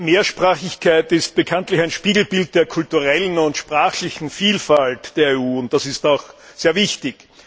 Mehrsprachigkeit ist bekanntlich ein Spiegelbild der kulturellen und sprachlichen Vielfalt der EU, und das ist auch sehr wichtig.